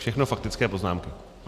Všechno faktické poznámky.